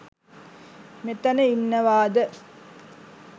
මෙතන ඉන්නවද?